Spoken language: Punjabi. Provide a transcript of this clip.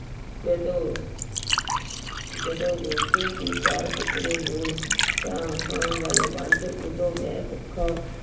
ਜਦੋਂ ਜਦੋਂ ਰੋਟੀ ਦੇ ਚਾਰ ਟੁੱਕੜੇ ਹੋਣ ਤਾਂ ਖਾਣ ਵਾਲੇ ਪੰਜ ਉਦੋਂ ਮੈਂ ਭੁੱਖਾ